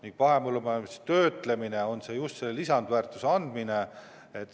Ning mahepõllumajanduslik töötlemine on just lisandväärtuse andmine.